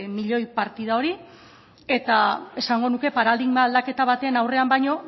milioi partida hori eta esango nuke paradigma aldaketa baten aurrean baino